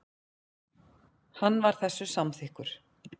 Hann var þessu samþykkur.